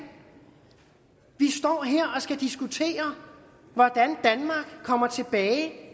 står her og skal diskutere hvordan danmark kommer tilbage